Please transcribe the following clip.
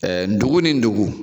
dugu ni dugu.